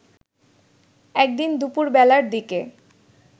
একদিন দুপুরবেলার দিকে